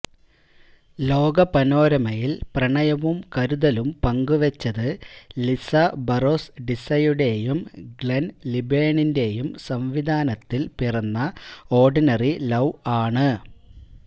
ലോക പനോരമയില് പ്രണയവും കരുതലും പങ്കുവച്ചത് ലിസ ബറോസ് ഡിസയുടെയും ഗ്ലെന് ലിബേണിന്റെയും സംവിധാനത്തില് പിറന്ന ഓര്ഡിനറി ലൌ ആണ്